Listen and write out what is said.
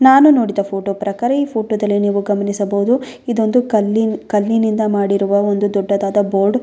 ನಾನು ನೋಡಿದ ಫೋಟೋ ಪ್ರಕಾರ ಈ ಫೋಟೋದಲ್ಲಿ ನೀವು ಗಮನಿಸಬಹುದು ಇದೊಂದು ಕಲ್ಲಿನ್ ಕಲ್ಲಿನಿಂದ ಮಾಡಿರುವ ಒಂದು ದೊಡ್ಡದಾದ ಬೋರ್ಡ್ .